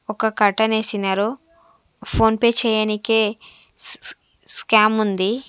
ఒక కర్టెన్ వేసినారు ఫోన్పే చెయ్యనీకే స్ స్ స్కామ్ ఉంది.